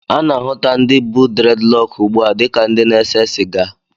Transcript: A na-ahụta ndị bu dreadlọọkụ ugbu a dịka ndị na-ese sịga.